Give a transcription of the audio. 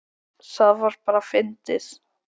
Það var bara fyndið.